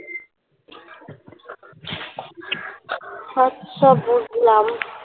সব সব বুঝলাম